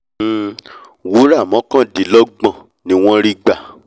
um wúrà mọ́kàndínlọ́gbọ̀n ni wọ́n rí gbà